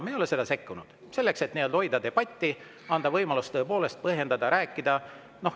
Me ei ole sekkunud, selleks et hoida debatti ja anda võimalus põhjendada, rääkida.